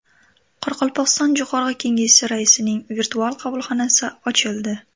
Qoraqalpog‘iston Jo‘qorg‘i Kengesi raisining virtual qabulxonasi ochildi.